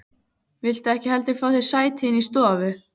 Viltu ekki heldur fá þér sæti inni í stofu?